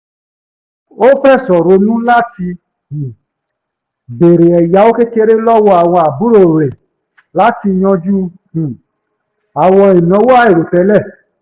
ó fẹ̀sọ̀ ronú látí um béèrè ẹ̀yáwó kékeré lọ́wọ́ àwọn àbúrò rẹ̀ latí yanjú um àwọn ìnáwó àìròtẹ́lẹ̀